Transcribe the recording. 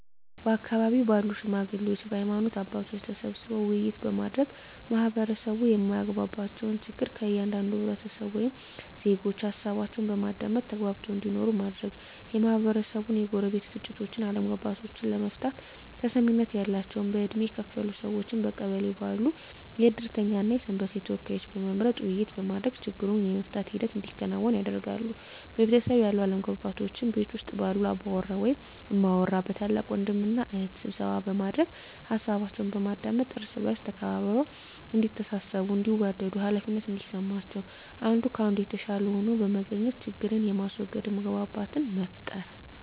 በአካባቢው ባሉ ሽማግሌዎች በሀይማኖት አባቶች ተሰብስበው ውይይት በማድረግ ማህበረሰቡ የማያግባባቸውን ችግር ከእያንዳንዱ ህብረተሰብ ወይም ዜጎች ሀሳባቸውን በማዳመጥ ተግባብተው እንዲኖሩ ማድረግ, የማህበረሰቡን የጎረቤት ግጭቶችን አለመግባባቶችን ለመፍታት ተሰሚነት ያላቸውን በእድሜ ከፍ ያሉ ሰዎችን በቀበሌው ባሉ የእድርተኛ እና የሰንበቴ ተወካዮችን በመምረጥ ውይይት በማድረግ ችግሩን የመፍታት ሂደት እንዲከናወን ያደርጋሉ። በቤተሰብ ያሉ አለመግባባቶችን ቤት ውስጥ ባሉ አባወራ ወይም እማወራ በታላቅ ወንድም እና እህት ስብሰባ በማድረግ ሀሳባቸውን በማዳመጥ እርስ በእርስ ተከባብረው እዲተሳሰቡ እንዲዋደዱ ሃላፊነት እንዲሰማቸው አንዱ ከአንዱ የተሻለ ሆኖ በመገኘት ችግርን በማስዎገድ መግባባትን መፍጠር።